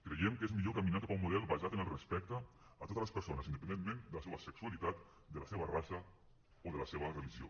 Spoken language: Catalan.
creiem que és millor caminar cap a un model basat en el respecte a totes les persones independentment de la seua sexualitat de la seva raça o de la seva religió